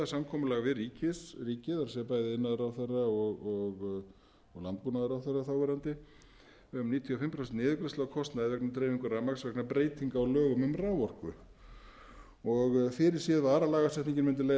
samkomulag við ríkið það er bæði iðnaðarráðherra og landbúnaðarráðherra um níutíu og fimm prósent niðurgreiðslu á kostnaði við dreifingu rafmagns vegna breytinga á lögum um raforku fyrirséð var að lagasetningin mundi leiða